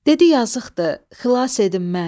Dedi yazıqdır, xilas edin mən.